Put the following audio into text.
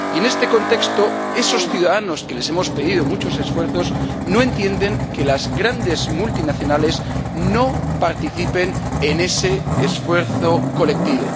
Y en este contexto, esos ciudadanos, a quienes hemos pedido muchos esfuerzos, no entienden que las grandes multinacionales no participen en ese esfuerzo colectivo.